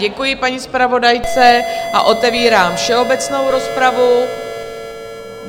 Děkuji paní zpravodajce a otevírám všeobecnou rozpravu.